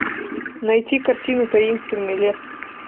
найти картину таинственный лес